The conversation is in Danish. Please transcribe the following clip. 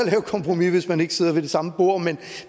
et kompromis hvis man ikke sidder ved det samme bord men